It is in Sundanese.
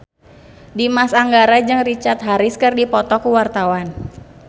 Dimas Anggara jeung Richard Harris keur dipoto ku wartawan